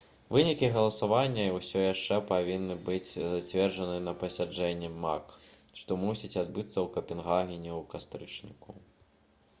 вынікі галасавання ўсё яшчэ павінны быць зацверджаны на пасяджэнні мак што мусіць адбыцца ў капенгагене ў кастрычніку